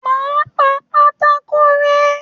Má a pà pátákó rẹ́.